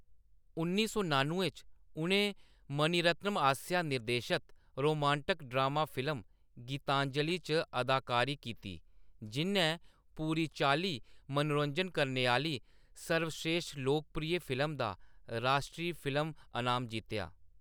उन्नी सौ नान्नुएं च, उʼनें मणिरत्नम आसेआ निर्देशत रोमांटक ड्रामा फिल्म गीतांजलि च अदाकारी कीती, जिʼन्नै पूरी चाल्ली मनोरंजन करने आह्‌‌‌ली सर्वस्रेश्ठ लोकप्रिय फिल्म दा राश्ट्री फिल्म अनाम जित्तेआ।